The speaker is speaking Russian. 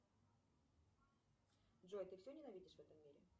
джой ты все ненавидишь в этом мире